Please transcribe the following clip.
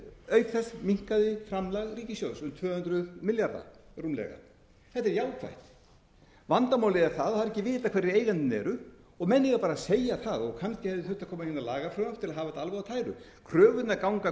auk þess minnkaði framlag ríkissjóðs um tvö hundruð milljarða rúmlega þetta er jákvætt vandamálið er það að það er ekki vitað hverjir eigendurnir eru og menn eiga bara að segja það kannski hefði þurft að koma hérna lagafrumvarp til að hafa þetta alveg á tæru kröfurnar ganga